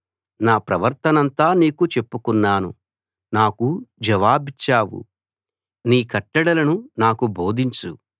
నా ప్రవర్తనంతా నీకు చెప్పుకున్నాను నాకు జవాబిచ్చావు నీ కట్టడలను నాకు బోధించు